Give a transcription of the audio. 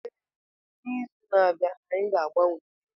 Mba, n'izu na-abịa anyị ga-agbanwe wiil.